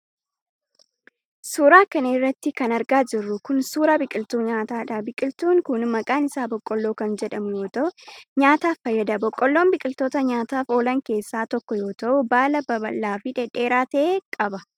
Suura kana irratti kan argaa jirru kun, suura biqiltuu nyaataadha. Biqiltuun kun maqaan isaa boqqoolloo kan jedhamu yoo ta'u, nyaataaf fayyada. Boqqoollon biqiltoota nyaataaf oolan keessaa tokko yoo ta'u, baala babal'aa fi dhedheeraa ta'e qaba.